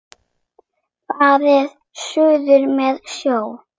Farið suður með sjó.